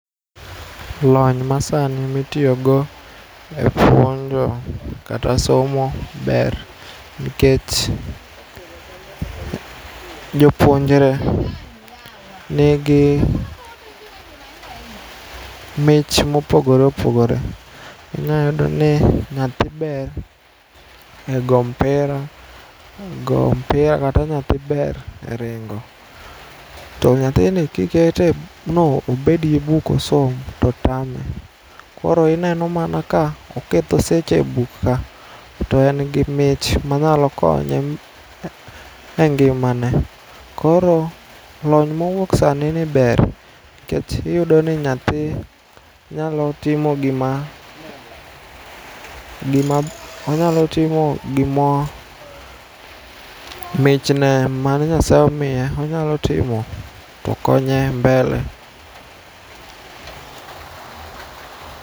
Lony masani itiyogo e puonjo kata somo ber nikech jopuonjre nigi mich mopogre opogore inyayudoni nyathi ber e go mpira kata nyathi ber e ringo. To nyathini kiketo no obedie buk osom totame. Koro ineno mana ka oketho seche e buk ka to engi mich manyalo konye e ngimane. Koro lony mowuok sanini ber nikech iyudoni nyathi nyalo timo gima, onyalotimo gima michne mane Nyasye omiye onyalotimo to konye mbele.